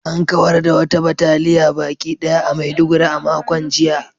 An kawar da wata bataliya baki ɗaya a Maiduguri a makon jiya